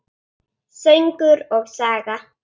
Söngur og saga.